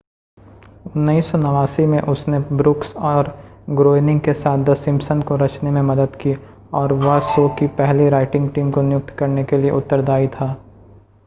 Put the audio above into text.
1989 में उसने ब्रुक्स और ग्रोएनिंग के साथ द सिम्पसन को रचने में मदद की और वह शो की पहली राइटिंग टीम को नियुक्त करने के लिए उत्तरदाई था